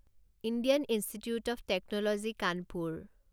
Indian Institute of Technology Kanpur